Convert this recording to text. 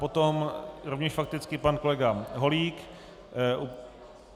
Potom rovněž fakticky pan kolega Holík.